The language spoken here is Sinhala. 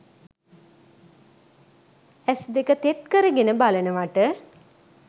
ඇස් දෙක තෙත් කරගෙන බලනවට?